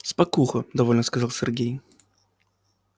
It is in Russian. спокуха довольно сказал сергей